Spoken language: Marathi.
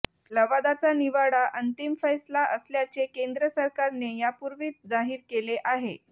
लवादाचा निवाडा अंतिम फैसला असल्याचे केंद्र सरकारने यापूर्वीच जाहीर केले आहे